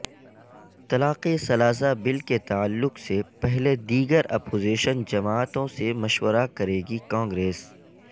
طلاق ثلاثہ بل کے تعلق سے پہلے دیگر اپوزیشن جماعتوں سے مشورہ کرے گی کانگریس